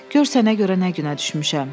Gör sənə görə nə günə düşmüşəm.